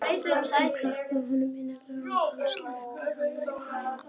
Hún klappaði honum innilega og hann sleikti hana í framan.